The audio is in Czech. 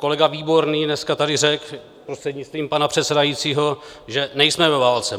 Kolega Výborný dneska tady řekl, prostřednictvím pana předsedajícího, že nejsme ve válce.